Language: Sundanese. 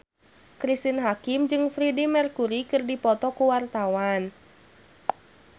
Cristine Hakim jeung Freedie Mercury keur dipoto ku wartawan